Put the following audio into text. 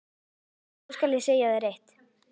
Nú skal ég segja þér eitt.